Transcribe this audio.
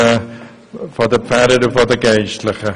Dies erscheint uns sehr wichtig.